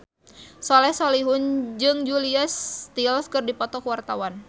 Soleh Solihun jeung Julia Stiles keur dipoto ku wartawan